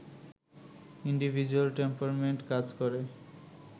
individual temperament কাজ করে